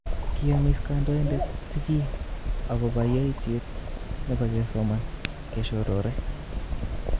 Kiyomis kandoindet sigiik agopo yoityet nepo kesoman keshorore